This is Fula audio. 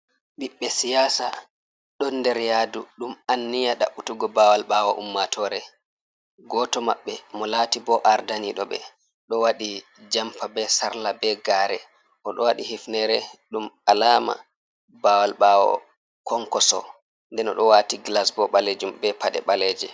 Ɓiɓɓe siyasa ɗon nder yadu ɗum anniya ɗabutugo bawal ɓawo ummatore, goto mabɓe mo lati bo ardaniɗoɓe ɗo wati jampa be sarla be gare oɗo wati hifnere, ɗum alama bawal ɓawo konkoso, nden oɗo wati glas bo ɓaleje.